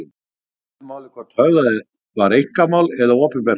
Ekki skiptir máli hvort höfðað var einkamál eða opinbert mál.